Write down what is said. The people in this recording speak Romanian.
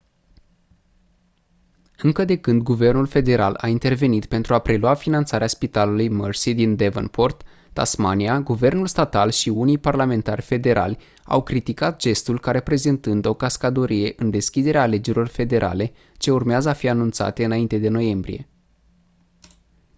încă de când guvernul federal a intervenit pentru a prelua finanțarea spitalului mersey din devonport tasmania guvernul statal și unii parlamentari federali au criticat gestul ca reprezentând o cascadorie în deschiderea alegerilor federale ce urmează a fi anunțate înainte de noiembrie